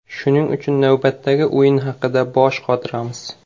Shuning uchun navbatdagi o‘yin haqida bosh qotiramiz.